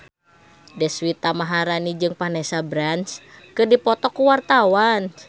Deswita Maharani jeung Vanessa Branch keur dipoto ku wartawan